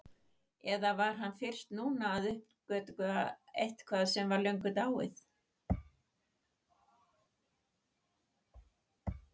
Eða var hann fyrst núna að uppgötva eitthvað sem var löngu dáið?